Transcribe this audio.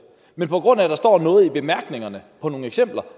men på grund af at der står noget i bemærkningerne om nogle eksempler